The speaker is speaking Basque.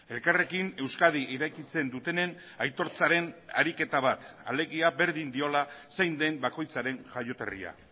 elkarrekin euskadi irekitzen dutenen aitortzaren ariketa bat alegia berdin diola zein den bakoitzaren jaioterria